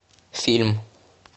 фильм